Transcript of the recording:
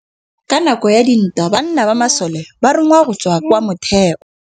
Ka nakô ya dintwa banna ba masole ba rongwa go tswa kwa mothêô.